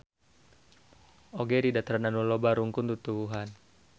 Oge di dataran anu loba rungkun tutuwuhan.